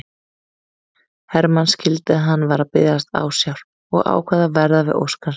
Hermann skildi að hann var að biðjast ásjár og ákvað að verða við ósk hans.